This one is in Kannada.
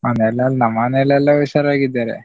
ನಮ್ಮ್ ಮನೆಲೆಲ್ಲಾ ಹುಷಾರಾಗಿದ್ದಾರೆ.